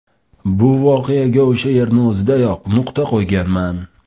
Bu voqeaga o‘sha yerni o‘zidayoq nuqta qo‘yganman.